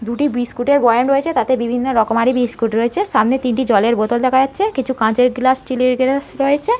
দুটি বিস্কুটের বয়াম রয়েছে তাতে বিভিন্ন রকমারি বিস্কুট রয়েছে সামনে তিনটি জলের বোতল দেখা যাচ্ছে কাচের গ্লাস স্টিল -এর গ্লাস রয়েছে ।